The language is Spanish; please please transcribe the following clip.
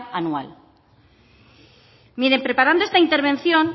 anual miren preparando esta intervención